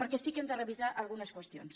perquè sí que n’hem de revisar algunes qüestions